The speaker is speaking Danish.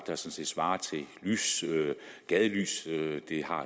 svarer til gadelys det har